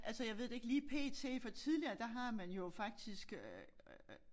Altså jeg ved det ikke lige p.t. for tidligere der har man jo faktisk øh